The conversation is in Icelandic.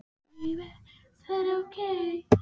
En Þórbergur sjálfur, hvar er hann staddur á sínum ferli?